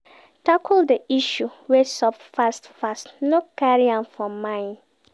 Tackle di issue wey sup fast fast no carry am for mind